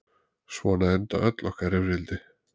Svona enda öll okkar rifrildi.